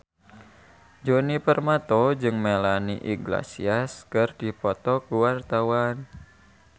Djoni Permato jeung Melanie Iglesias keur dipoto ku wartawan